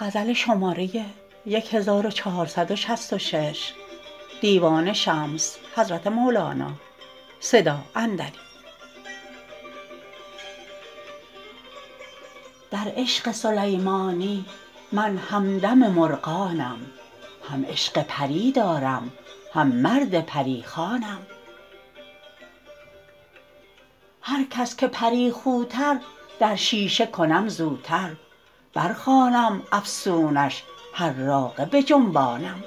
در عشق سلیمانی من همدم مرغانم هم عشق پری دارم هم مرد پری خوانم هر کس که پری خوتر در شیشه کنم زوتر برخوانم افسونش حراقه بجنبانم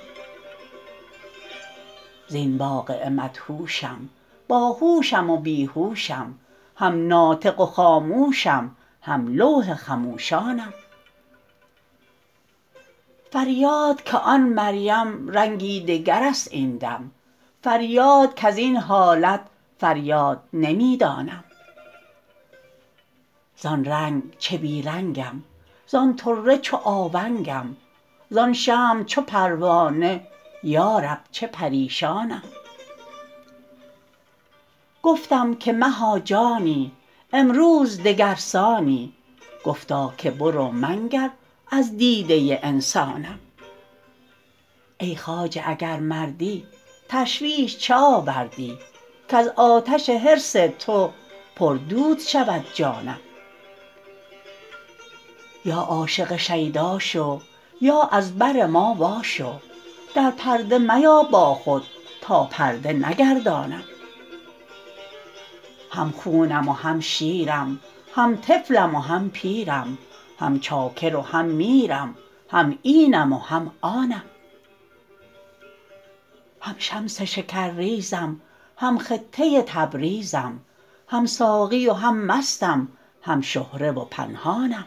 زین واقعه مدهوشم باهوشم و بی هوشم هم ناطق و خاموشم هم لوح خموشانم فریاد که آن مریم رنگی دگر است این دم فریاد کز این حالت فریاد نمی دانم زان رنگ چه بی رنگم زان طره چو آونگم زان شمع چو پروانه یا رب چه پریشانم گفتم که مها جانی امروز دگر سانی گفتا که برو منگر از دیده انسانم ای خواجه اگر مردی تشویش چه آوردی کز آتش حرص تو پردود شود جانم یا عاشق شیدا شو یا از بر ما واشو در پرده میا با خود تا پرده نگردانم هم خونم و هم شیرم هم طفلم و هم پیرم هم چاکر و هم میرم هم اینم و هم آنم هم شمس شکرریزم هم خطه تبریزم هم ساقی و هم مستم هم شهره و پنهانم